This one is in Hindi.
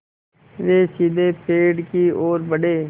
वे सीधे पेड़ की ओर बढ़े